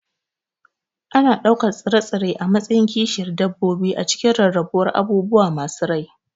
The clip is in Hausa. Ana ɗaukar tsire-tsire a matsayin kishiyar dabbobi a cikin rarrabuwar abubuwa masu rai.